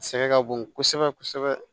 Sɛgɛn ka bon kosɛbɛ kosɛbɛ